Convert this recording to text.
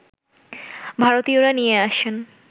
ভারতীয়রা নিয়ে আসেন